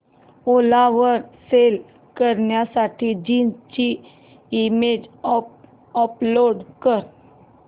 ओला वर सेल करण्यासाठी जीन्स ची इमेज अपलोड कर